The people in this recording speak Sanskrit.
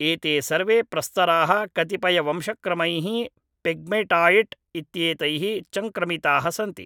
एते सर्वे प्रस्तराः कतिपयवंशक्रमैः पेग्मैटायिट् इत्येतैः चङ्क्रमिताः सन्ति